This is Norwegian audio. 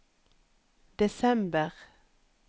desember